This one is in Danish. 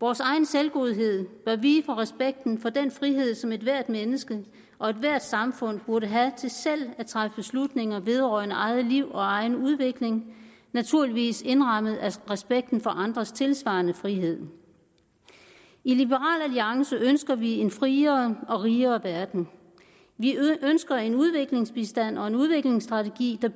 vores egen selvgodhed bør vige for respekten for den frihed som ethvert menneske og ethvert samfund burde have til selv at træffe beslutninger vedrørende eget liv og egen udvikling naturligvis indrammet af respekten for andres tilsvarende frihed i liberal alliance ønsker vi en friere og rigere verden vi ønsker en udviklingsbistand og en udviklingsstrategi der